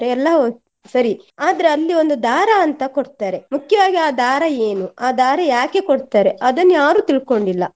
ಎಲ್ಲಾ ಹೌದು ಸರಿ ಆದ್ರೆ ಅಲ್ಲಿ ಒಂದು ದಾರ ಅಂತ ಕೊಡ್ತಾರೆ ಮುಖ್ಯವಾಗಿ ಆ ದಾರ ಏನು ಆ ದಾರ ಯಾಕೆ ಕೊಡ್ತಾರೆ ಅದನ್ನು ಯಾರು ತಿಳ್ಕೊಂಡಿಲ್ಲ.